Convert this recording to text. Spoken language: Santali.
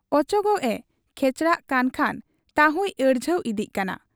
ᱚᱪᱚᱜᱚᱜ ᱮ ᱠᱷᱮᱪᱲᱟᱜ ᱠᱟᱱ ᱠᱷᱟᱱ ᱛᱟᱦᱩᱸᱭ ᱟᱹᱲᱡᱷᱟᱹᱣ ᱤᱫᱤᱜ ᱠᱟᱱᱟ ᱾